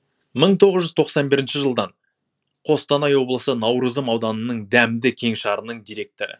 мың тоғыз жүз тоқсан бірінші жылдан қостанай облысы наурызым ауданының дәмді кеңшарының директоры